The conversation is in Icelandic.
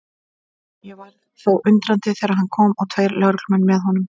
Ég varð þó undrandi þegar hann kom og tveir lögreglumenn með honum.